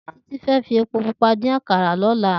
Titi fé fi épó púpà din àkárá lòlá